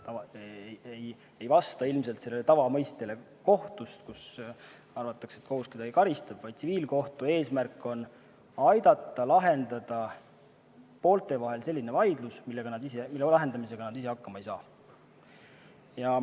See ei vasta ilmselt tavaarusaamale kohtust, mille järgi kohus kedagi karistab, vaid tsiviilkohtu eesmärk on aidata lahendada poolte vahel selline vaidlus, mille lahendamisega nad ise hakkama ei saa.